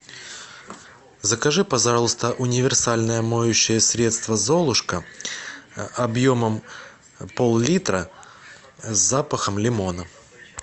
закажи пожалуйста универсальное моющее средство золушка объемом пол литра с запахом лимона